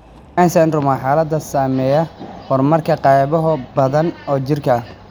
Fryns syndrome waa xaalad saameeya horumarka qaybo badan oo jirka ah.